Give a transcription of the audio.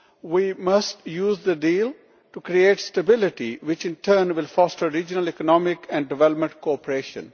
We must use the deal to create stability, which in turn will foster regional economic and development cooperation.